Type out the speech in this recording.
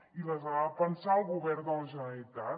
i les ha de pensar el govern de la generalitat